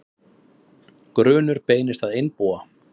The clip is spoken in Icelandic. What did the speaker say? Grunur beinist að einbúa